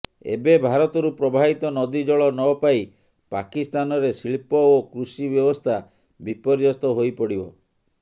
ଏବେ ଭାରତରୁ ପ୍ରବାହିତ ନଦୀ ଜଳ ନପାଇ ପାକିସ୍ତାନରେ ଶିଳ୍ପ ଓ କୃଷି ବ୍ୟବସ୍ଥା ବିପର୍ଯ୍ୟସ୍ତ ହୋଇପଡିବ